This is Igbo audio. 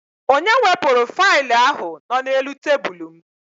Onye wepụrụ failụ ahụ nọ n'elu tebụlụ m?